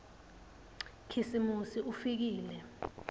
khisimusi ufikile